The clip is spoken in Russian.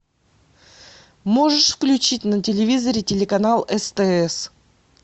можешь включить на телевизоре телеканал стс